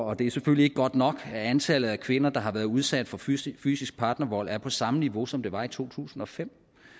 og det er selvfølgelig ikke godt nok at antallet af kvinder der har været udsat for fysisk fysisk partnervold er på samme niveau som det var i to tusind og fem